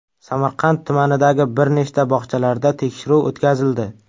Samarqand tumanidagi bir nechta bog‘chalarda tekshiruv o‘tkazildi.